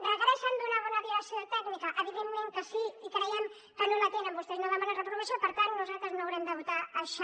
requereixen una bona direcció tècnica evidentment que sí i creiem que no la tenen vostès no demanen reprovació per tant nosaltres no haurem de votar això